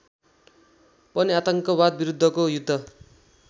पनि आतंकवादविरुद्धको युद्ध